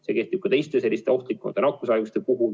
See kehtib ka teiste ohtlike nakkushaiguste puhul.